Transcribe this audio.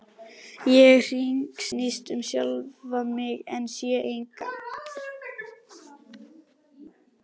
Ég hringsnýst um sjálfa mig en sé engan.